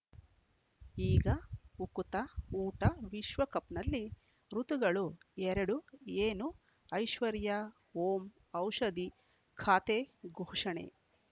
ಈಗ ಉಕುತ ಊಟ ವಿಶ್ವಕಪ್‌ನಲ್ಲಿ ಋತುಗಳು ಎರಡು ಏನು ಐಶ್ವರ್ಯಾ ಓಂ ಔಷಧಿ ಖಾತೆ ಘೋಷಣೆ